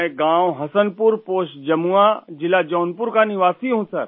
میں گاؤں Hasanpur, post Jamua, ضلع جونپور کا رہنے والا ہوں